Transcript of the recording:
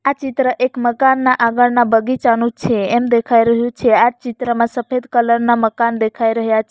આ ચિત્ર એક મકાનના આગળના બગીચાનું છે એમ દેખાય રહ્યું છે આ ચિત્રમાં સફેદ કલર ના મકાન દેખાય રહ્યા --